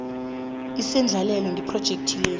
isendlalelo ngephrojekhthi le